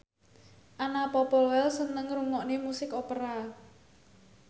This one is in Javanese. Anna Popplewell seneng ngrungokne musik opera